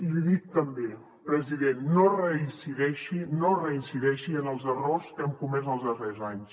li dic també president que no reincideixi en els errors que hem comès els darrers anys